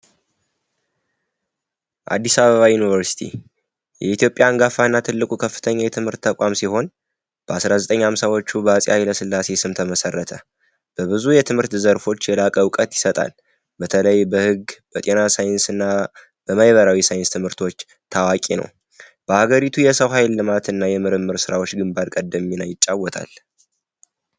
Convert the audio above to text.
አዲስ አበባ ዩኒቨርሲቲ የኢትዮጵያ አንጋፋ እና ትልቁ ከፍተኛ የትምህርት ተቋም ሲሆን በ1950ም0ዎቹ ባጽ ኃይለ ስላሴ ስምተ መሰረተ በብዙ የትምህርት ዘርፎች የላቀ እውቀት ይሰጣል በተለይ በሕግ በጤና ሳይንስ እና በማይበራዊ ሳይንስ ትምህርቶች ታዋቂ ነው በሀገሪቱ የሰው ኃይል ልማት እና የምርምር ሥራዎች ግን ባድ ቀደ የሚና ይጫወታል።